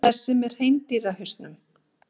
Þessi með hreindýrshausnum.